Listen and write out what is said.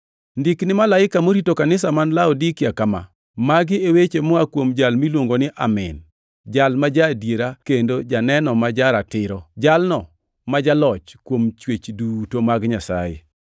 “Ndik ne malaika morito kanisa man Laodikia kama: Magi e weche moa kuom Jal miluongo ni Amin, Jal ma ja-adiera kendo janeno ma Ja-ratiro, Jalno ma jaloch kuom chwech duto mag Nyasaye.